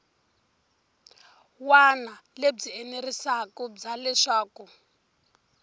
wana lebyi enerisaku bya leswaku